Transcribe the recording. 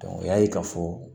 o y'a ye k'a fɔ